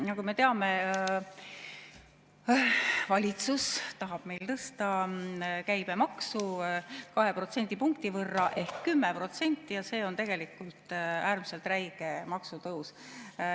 Nagu me teame, tahab valitsus tõsta käibemaksu 2 protsendipunkti ehk 10% ja see on tegelikult äärmiselt räige maksutõus.